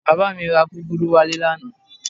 Bàbá mi ra gúgúrú wálé lánàá